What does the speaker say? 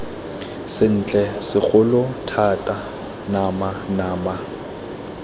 sentle segolo thata nama nama